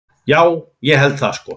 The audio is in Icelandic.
Já, ég held það sko.